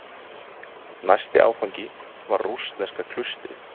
Næsti áfangi var rússneska klaustrið.